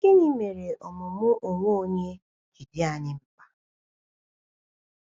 Gịnị mere ọmụmụ onwe onye ji dị anyị mkpa?